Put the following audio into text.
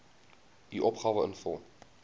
u opgawe invul